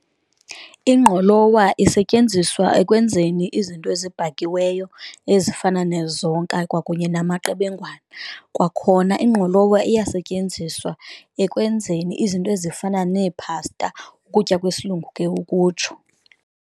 Ingqolowa isetyenziswa ekwenzeni izinto ezibhakiweyo ezifana nezonka kwakunye namaqebengwana, kwakhona ingqolowa iyasetyenziswa ekwenzeni izinto ezifana neephasta ukutya kwesilungu ke ukutsho.